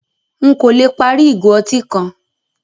Nkọ̀ lẹ pári igo ọ̀tí kan